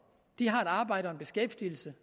har et arbejde og en beskæftigelse